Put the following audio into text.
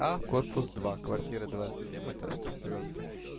а корпус два квартира двадцать семь этаж четвёртый